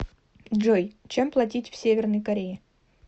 джой чем платить в северной корее